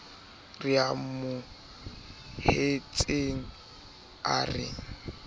re a amohetseng a re